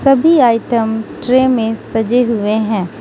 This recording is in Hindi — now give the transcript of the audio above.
सभी आइटम ट्रे में सजे हुए हैं।